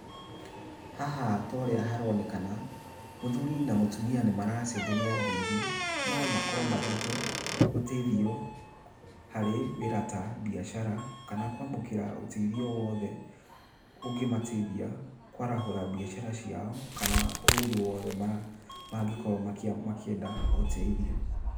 Haha torĩa haronekana, mũthuri na mũtumia nĩ maracenjania ngeithi no makorwo mathiĩte ũteithio harĩ wĩra ta biacara kana kwamũkĩra ũteithio wothe ũngĩmateithia kwarahũra biacara ciao kana kũndũ guothe mangĩkorwo makĩenda ũteithio.